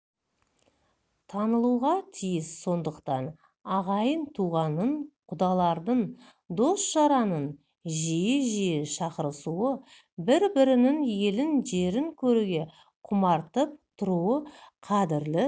танылуға тиіс сондықтан ағайын-туғанның құдалардың дос-жаранның жиі-жиі шақырысуы бір-бірінің елін жерін көруге құмартып тұруы қадірлі